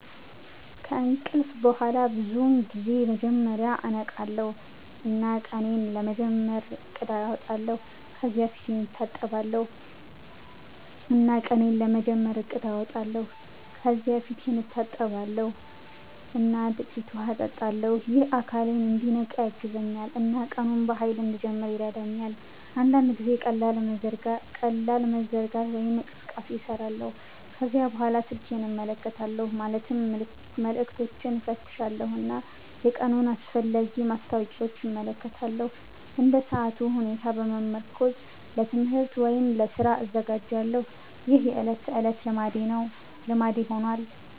ከእንቅልፍ በኋላ ብዙውን ጊዜ መጀመሪያ እነቃለሁ እና ቀኔን ለመጀመር እቅድ አወጣለሁ። ከዚያ ፊቴን እታጠባለሁ እና ጥቂት ውሃ እጠጣለሁ። ይህ አካሌን እንዲነቃ ያግዛል እና ቀኑን በኃይል እንድጀምር ይረዳኛል። አንዳንድ ጊዜ ቀላል መዘርጋት ወይም እንቅስቃሴ እሰራለሁ። ከዚያ በኋላ ስልኬን እመለከታለሁ ማለትም መልዕክቶችን እፈትሻለሁ እና የቀኑን አስፈላጊ ማስታወቂያዎች እመለከታለሁ። እንደ ሰዓቱ ሁኔታ በመመርኮዝ ለትምህርት ወይም ለስራ እዘጋጃለሁ። ይህ የዕለት ተዕለት ልማዴ ሆኗል።